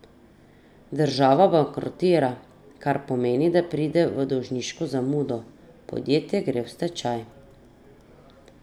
Država bankrotira, kar pomeni, da pride v dolžniško zamudo, podjetje gre v stečaj.